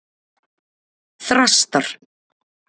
Þrastar